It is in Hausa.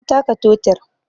Na taka totir